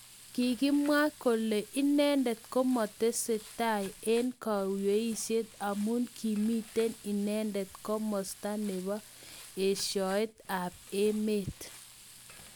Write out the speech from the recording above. Kikamwa kole inendet makotesetai eng kweishet amu kimitei inenedet kimasta nebo eshoet ab emet.